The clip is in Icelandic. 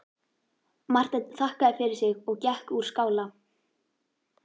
Marteinn þakkaði fyrir sig og gekk úr skála.